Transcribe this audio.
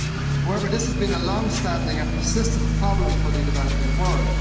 However, this has been a long standing and persistent problem for the developing world.